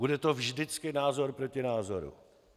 Bude to vždycky názor proti názoru.